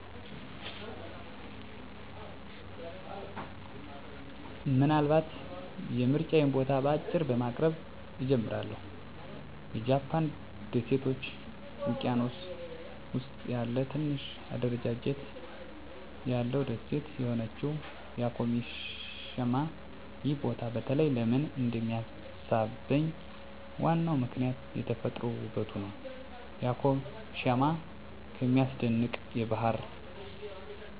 ምናልባት የምርጫዬን ቦታ በአጭሩ በማቅረብ እጀምራለሁ -የጃፓን ደሴቶች ውቅያኖስ ውስጥ ያለ ትንሽ አደረጃጀት ያለው ደሴት የሆነችው ያኮሺማ። ይህ ቦታ በተለይ ለምን እንደሚሳብኝ ዋናው ምክንያት የተፈጥሮ ውበቱ ነው። ያኮሺማ ከሚያስደንቅ የባህር ዳርቻዎች እስከ ጥልቅ ሰላማዊ ደኖች ድረስ ያለው በመሆኑ። የመረጥኩት ያኮሺማ በተፈጥሯዊ ውበቷ፣ በልዩ ባህላዊ ታሪክ እና ከመደበኛ የቱሪስት መስመሮች ርቃታ ምክንያት ነው። እዚያ ላይ የማግኘት ተሞክሮ ደግሞ በባህር ዳርቻዎች ላይ ያለ እፎይታ፣ አዳዲስ የምግብ ባህሎች እና የተራራ አስደናቂ እይታዎችን ማየት ይጨምራል።